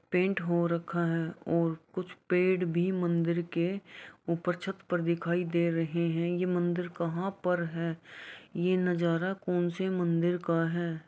Paint हो रखा है और कुछ पेड़ भी मंदिर के ऊपर छत पर दिखाई दे रहे हैं ये मंदिर कहाँ पर है ये नजारा कौनसे मंदिर का है।